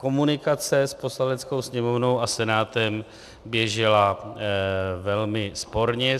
Komunikace s Poslaneckou sněmovnou a Senátem běžela velmi sporně.